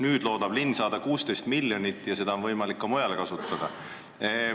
Nüüd loodab linn sel moel saada 16 miljonit ja seda raha on võimalik ka mujal kasutada.